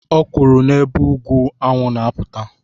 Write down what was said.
Ọ kwuru n'ebe ugwu anwụ na-apụta